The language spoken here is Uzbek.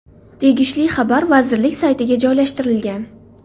Tegishli xabar vazirlik saytiga joylashtirilgan .